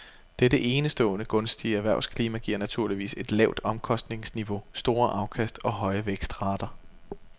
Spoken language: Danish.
Dette enestående gunstige erhvervsklima giver naturligvis et lavt omkostningsniveau, store afkast og høje vækstrater.